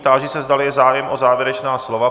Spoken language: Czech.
Táži se, zda je zájem o závěrečná slova.